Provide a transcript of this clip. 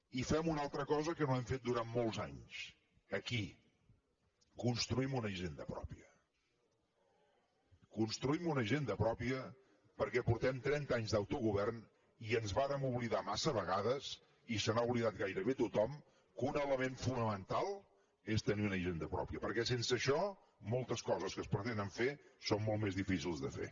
i fem una altra cosa que no hem fet durant molts anys aquí construïm una hisenda pròpia construïm una hisenda pròpia perquè portem trenta anys d’autogovern i ens vàrem oblidar massa vegades i se n’ha oblidat gairebé tothom que un element fonamental és tenir una hisenda pròpia perquè sense això moltes coses que es pretenen fer són molt més difícils de fer